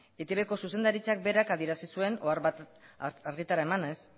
eitbko zuzendaritzak berak adierazi zuen ohar bat argitara emanez